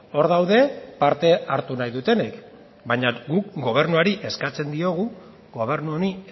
hor daude parte hartu nahi dutenek baina guk gobernuari eskatzen diogu gobernu honi